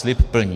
Slib plní.